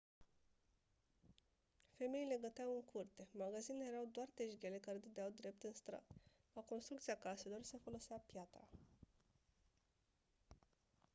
femeile găteau în curte magazinele erau doar tejghele care dădeau drept în stradă la construcția caselor se folosea piatră